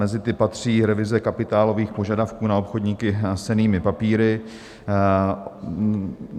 Mezi ty patří revize kapitálových požadavků na obchodníky s cennými papíry.